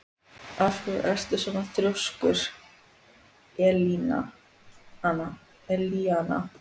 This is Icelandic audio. Af hverju ertu svona þrjóskur, Elíana?